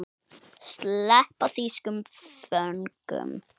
Sleppa þýskum föngum?